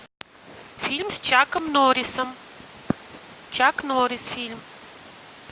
фильм с чаком норрисом чак норрис фильм